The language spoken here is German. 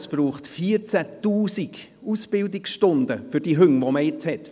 Für die Hunde werden 14 000 Ausbildungsstunden benötigt.